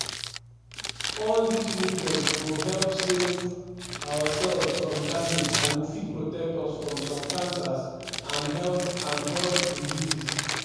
all dis nutrients go help save our cells from damage and go fit protect us from some cancers and health and health diseases.